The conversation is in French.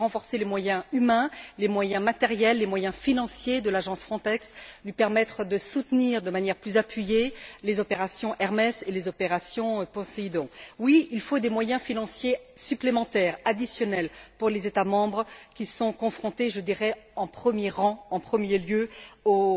Il faut renforcer les moyens humains, les moyens matériels, les moyens financiers de l'agence Frontex, lui permettre de soutenir de manière plus appuyée les opérations Hermes et les opérations Poséidon. Oui, il faut des moyens financiers supplémentaires, additionnels pour les États membres qui sont confrontés, je dirais, en premier lieu, aux